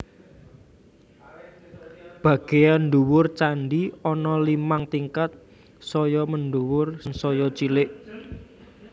Bagéyan ndhuwur candhi ana limang tingkat saya mendhuwur sansaya cilik